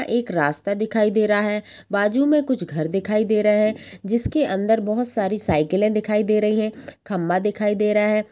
एक रास्ता दिखाई दे रहा हैं। बाजु में कुछ घर दिखाई दे रहे है। जिसके अंदर बोहोत सारी साइकिलें दिखाई दे रही है। खम्भा दिखाई दे रहा है।